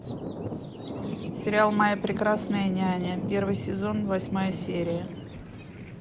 сериал моя прекрасная няня первый сезон восьмая серия